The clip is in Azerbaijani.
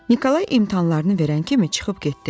Nikolay imtahanlarını verən kimi çıxıb getdi.